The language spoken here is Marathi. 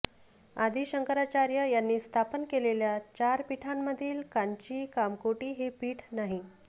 आदि शंकराचार्य यांनी स्थापन केलेल्या चार पीठांमधील कांची कामकोटी हे पीठ नाही